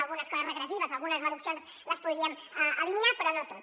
algunes coses regressives algunes reduccions les podríem eliminar però no tot